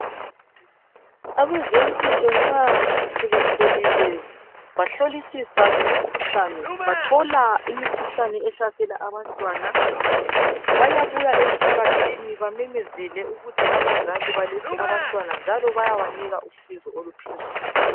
Abezempilo nxa sebehlolile bahlolisisa ngemikhuhlane bathola imikhuhlane ehlasela abantwana bayabuya emphakathini bamemezele ukuthi abazali balethe abantwana njalo bayabanika usizo oluphezulu